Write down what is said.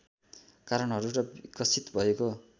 कारणहरू र विकसित भएको